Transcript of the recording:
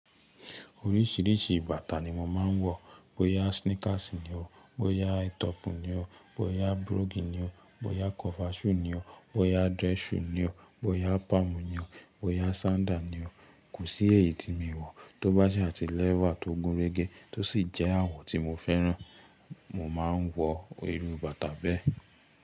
Oríṣìíríṣìí bàtà ni mo máa ń wọ, bóyá sneakers ni o, bóyá aitọpu ni o, bóyá broguni ni o, bóyá kọfaṣu ni o, bóyá dress shoe ni o, bóyá palm ni o, bóyá sandal ni o. Kò sí èyí tí mi ò wọ̀. Tóbá sa ti lẹ́wà tó gúnrégé tó sì jẹ́ àwọ̀ tí mo fẹ́ràn, mo máa ń wọ irú bàtà bẹ́ẹ̀.